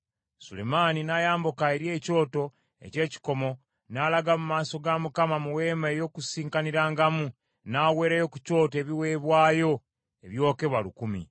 Sulemaani n’ayambuka eri ekyoto eky’ekikomo n’alaga mu maaso ga Mukama mu Weema ey’Okukuŋŋaanirangamu n’aweerayo ku kyoto ebiweebwayo ebyokebwa lukumi.